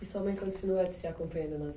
E sua mãe continua te acompanhando nas